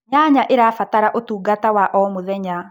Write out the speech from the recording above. nyanya irabatara utungata wa o mũthenya